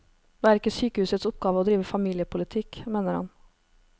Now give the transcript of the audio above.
Det er ikke sykehusets oppgave å drive familiepolitikk, mener han.